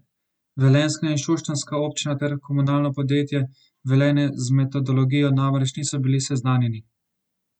Velenjska in šoštanjska občina ter Komunalno podjetje Velenje z metodologijo namreč niso bili seznanjeni.